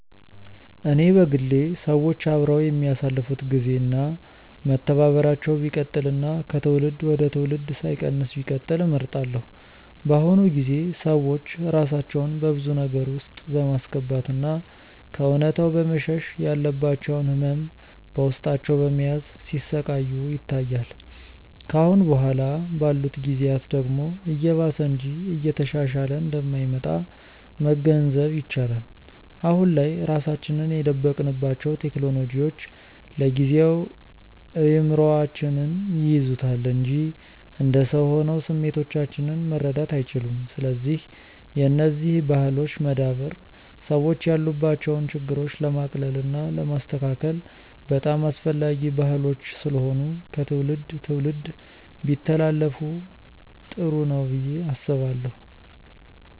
እኔ በግሌ ሰዎች አብረው የሚያሳልፋት ግዜ እና መተባበራቸው ቢቀጥል እና ከትውልድ ወደ ትውልድ ሳይቀንስ ቢቀጥል እመርጣለሁ። በአሁኑ ጊዜ ሰዎች ራሳቸውን በብዙ ነገር ውስጥ በማስገባት እና ከእውነታው በመሸሽ ያለባቸውን ህመም በውስጣቸው በመያዝ ሲሰቃዩ ይታያል። ከአሁን በኋላ ባሉት ጊዜያት ደግሞ እየባሰ እንጂ እየተሻሻለ እንደማይመጣ መገንዘብ ይቻላል። አሁን ላይ ራሳችንን የደበቅንባቸው ቴክኖሎጂዎች ለጊዜው እይምሮአችንን ይይዙታል እንጂ እንደ ሰው ሆነው ስሜቶቻችንን መረዳት አይችሉም። ስለዚህ የነዚህ ባህሎች መዳበር ሰዎች ያሉባቸውን ችግሮች ለማቅለል እና ለማስተካከል በጣም አስፈላጊ ባህሎች ስለሆኑ ከትውልድ ትውልድ ቢተላለፋ ጥሩ ነው ብዬ አስባለሁ።